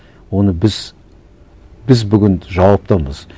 оны біз біз бүгін жауаптамыз